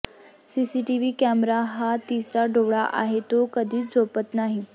CCTV camera हा तिसरा डोळा आहे तो कधीच झोपत नाही